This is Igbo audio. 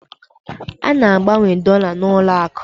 A na-agbanwe dọla n'ụlọakụ